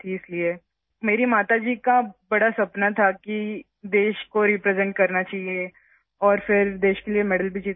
اس لیے میری ماں کا ایک بڑا خواب تھا... میں چاہتی تھی کہ میں ملک کی نمائندگی کروں اور پھر ملک کے لیے تمغہ جیتوں